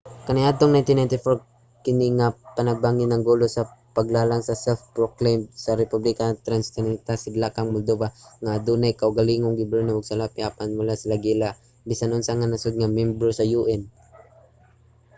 kaniadtong 1994 kini nga panagbangi nangulo sa paglalang sa self-proclaimed nga republika sa transnistria sa sidlakang moldova nga adunay kaugalingong gobyerno ug salapi apan wala giila sa bisan unsa nga nasud nga miyembro sa un